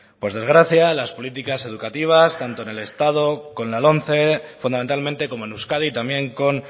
por desgracia las políticas educativas tanto en el estado con la lomce fundamentalmente como en euskadi también con